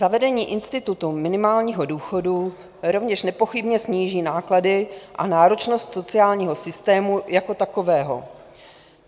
Zavedení institutu minimálního důchodu rovněž nepochybně sníží náklady a náročnost sociálního systému jako takového.